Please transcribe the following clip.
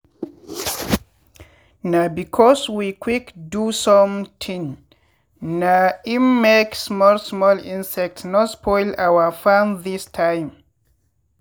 na because we quick do sometin na im make small small insects no spoil our farm this time.